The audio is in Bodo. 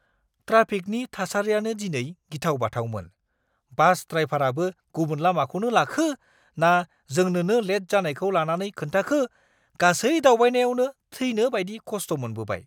ट्राफिकनि थासारिआनो दिनै गिथाव-बाथावमोन। बास ड्रायभाराबो गुबुन लामाखौनो लाखो ना जोंनोनो लेट जानायखौ लानानै खोन्थाखो, गासै दावबायनायावनो थैनो बायदि खस्ट' मोनबोबाय।